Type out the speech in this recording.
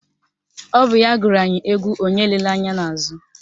Ọ bụ ya gụrụ anyị égwú onye elela ányá n'àzụ́